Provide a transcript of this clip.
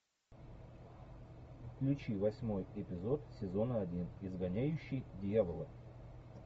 включи восьмой эпизод сезона один изгоняющий дьявола